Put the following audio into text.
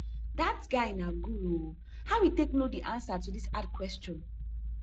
dat guy na guru oo how e take no the answer to dis hard question